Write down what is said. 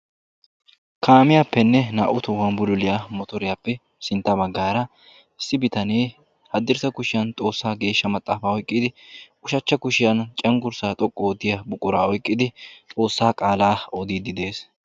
Kaamiyappene naa'u tohuwan bululiyaa motoriyappe sintta baggaara ba kushiyan xoqqu oottidi ba ushshachcha kushiyan cenggurssa xoqqu oottiyaa miishshaa oyqqidi xoossaa qaala oddidi de'ees.